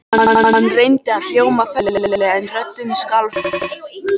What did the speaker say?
Hann reyndi að hljóma festulega en röddin skalf enn.